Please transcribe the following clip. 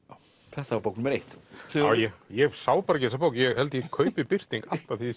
þetta var bók númer eitt Sigurður ég ég sá bara ekki þessa bók ég held ég kaupi Birting alltaf þegar